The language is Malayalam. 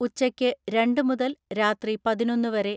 ഉച്ചയ്ക്ക് രണ്ട് മുതൽ രാത്രി പതിനൊന്ന് വരെ